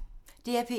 DR P1